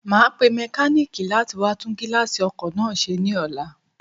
Màá pe mékáníìkì látí wá tún gíláàsì ọkò náà se ní ọlá